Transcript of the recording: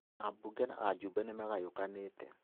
Ambunge na ajumbe nĩmagayũkanĩte